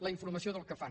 la informació del que fan